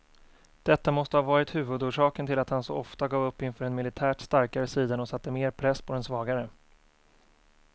Detta måste ha varit huvudorsaken till att han så ofta gav upp inför den militärt starkare sidan och satte mer press på den svagare.